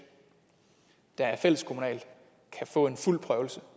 der er fælleskommunalt kan få en fuld prøvelse